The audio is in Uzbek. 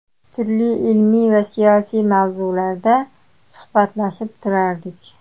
Turli ilmiy va siyosiy mavzularda suhbatlashib turardik.